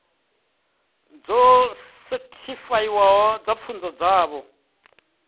dzo sethifaiwaho dza pfunzo dzavho